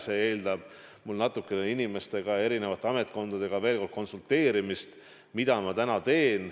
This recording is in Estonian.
See eeldab mult natukene eri ametkondadega veel kord konsulteerimist, mida ma juba täna teen.